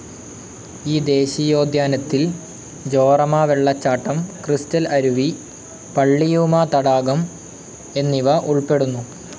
ഈ ദേശീയോദ്യാനത്തിൽ ജോറമ വെള്ളച്ചാട്ടം, ക്രിസ്റ്റൽ അരുവി, പള്ളിയൂമ തടാകം എന്നിവ ഉൾപ്പെടുന്നു.